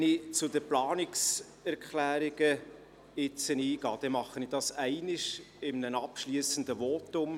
Wenn ich zu den Planungserklärungen spreche, dann tue ich dies ein einziges Mal in einem abschliessenden Votum.